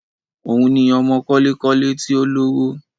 Òun ni ọmọ kọ́lé-kọ́lé tí ó lówó